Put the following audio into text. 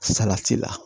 Salati la